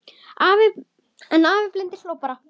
En afi blindi hló bara.